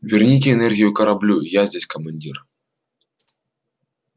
верните энергию кораблю я здесь командир